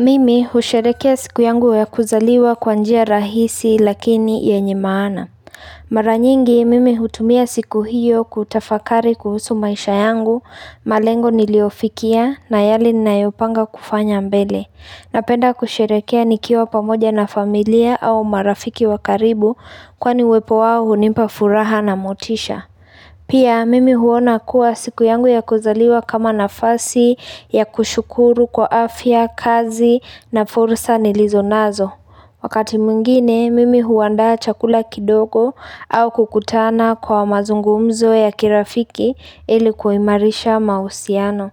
Mimi husherekea siku yangu ya kuzaliwa kwa njia rahisi lakini yenye maana Maranyingi mimi hutumia siku hiyo kutafakari kuhusu maisha yangu malengo niliofikia na yale ninayopanga kufanya mbele Napenda kusherekea nikiwa pamoja na familia au marafiki wa karibu Kwani wepo wao hunipa furaha na motisha Pia mimi huona kuwa siku yangu ya kuzaliwa kama nafasi ya kushukuru kwa afya, kazi na fursa nilizonazo. Wakati mwingine, mimi huandaa chakula kidogo au kukutana kwa mazungumzo ya kirafiki ili kuimarisha mahusiano.